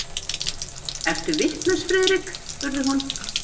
Ertu vitlaus, Friðrik? spurði hún.